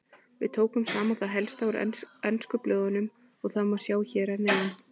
Við tókum saman það helsta úr ensku blöðunum og það má sjá hér að neðan.